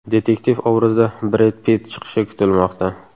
Detektiv obrazida Bred Pitt chiqishi kutilmoqda.